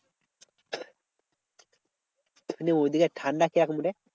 ঐদিকে ঠান্ডা কি রকম রে?